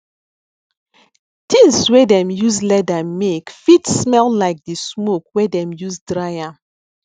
things wey dem use leather make fit smell like the smoke wey dem use dry am